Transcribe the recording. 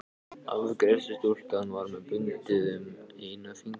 Afgreiðslustúlkan var með bundið um einn fingurinn.